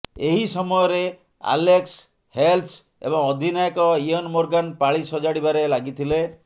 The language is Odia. ଏହି ସମୟରେ ଆଲେକ୍ସ ହେଲ୍ସ ଏବଂ ଅଧିନାୟକ ଇଅନ୍ ମୋର୍ଗାନ୍ ପାଳି ସଜାଡ଼ିବାରେ ଲାଗିଥିଲେ